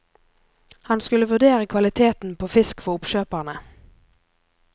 Han skulle vurdere kvaliteten på fisk for oppkjøperne.